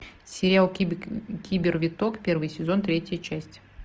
сериал кибер виток первый сезон третья часть